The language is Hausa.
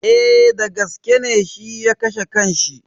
Eh dagaske ne shi ya kashe kan shi.